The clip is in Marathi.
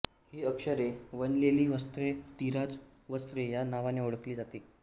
ही अक्षरे विणलेली वस्त्रे तिराझ वस्त्रे या नावाने ओळखली जात